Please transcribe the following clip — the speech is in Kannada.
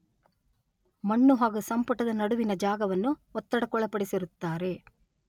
ಮಣ್ಣು ಹಾಗೂ ಸಂಪುಟದ ನಡುವಿನ ಜಾಗವನ್ನು ಒತ್ತಡಕ್ಕೊಳಪಡಿಸಿರುತ್ತಾರೆ.